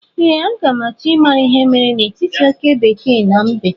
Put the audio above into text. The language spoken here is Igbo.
Ee, a ga m achọ ịma ihe mere n'etiti oke bekee na mbe